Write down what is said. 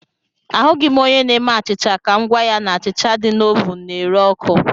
Ahụghị m onye na-eme achịcha ka m gwa ya na achịcha dị na ovụn na-ere ọkụ